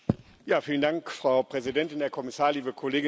Frau Präsidentin, Herr Kommissar, liebe Kolleginnen und Kollegen!